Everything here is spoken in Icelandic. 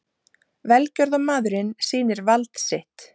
Velgjörðarmaðurinn sýnir vald sitt